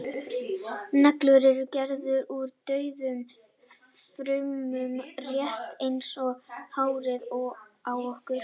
neglur eru gerðar úr dauðum frumum rétt eins og hárið á okkur